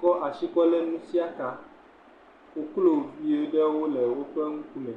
kɔ asi ɖeka kɔlé nusiakaa. Koklovi ɖewo le woƒe ŋkume.